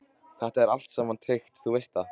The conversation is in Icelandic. Þetta er allt saman tryggt, þú veist það.